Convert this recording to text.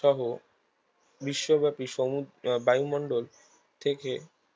সহ বিশ্বব্যাপী সমু বায়ুমণ্ডল থেকে